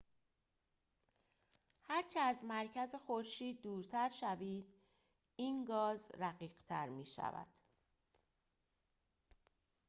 هرچه از مرکز خورشید دورتر شوید این گاز رقیق‌تر می‌شود